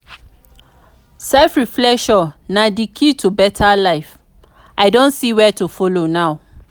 self reflection na di key to better life i don see where to follow now.